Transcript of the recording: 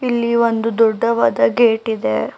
ಇಲ್ಲಿ ಒಂದು ದೊಡ್ಡವಾದ ಗೇಟ್ ಇದೆ.